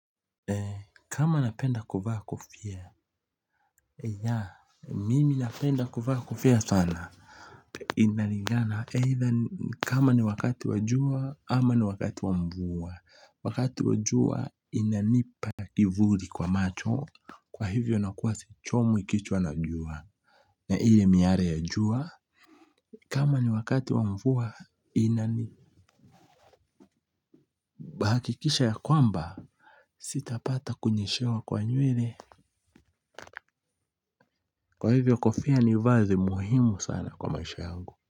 Kama napenda kuvaa kofia ya mimi napenda kuvaa kofia sana inalingana either kama ni wakati wa jua ama ni wakati wa mvua wakati wa jua inanipa kivuli kwa macho kwa hivyo nakuwa sichomwi kichwa na jua na ile miale ya jua kama ni wakati wa mvua inani hakikisha ya kwamba sitapata kunyeshewa kwa nywele kwa hivyo kofia ni vazi muhimu sana kwa maisha yangu.